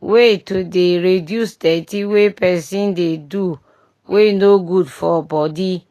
way to dey reduce dirty wey pesin dey do wey no good for body